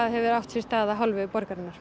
hefur átt sér stað af hálfu borgarinnar